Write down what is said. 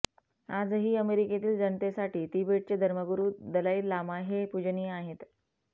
आजही अमेरिकेतील जनतेसाठी तिबेटचे धर्मगुरू दलाई लामा हे पूजनीय आहेत